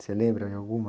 Você lembra de alguma?